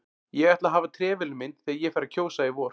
Ég ætla að hafa trefilinn minn þegar ég fer að kjósa í vor